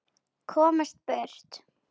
Komast burt.